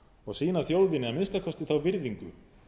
og sýna þjóðinni að minnsta kosti þá virðingu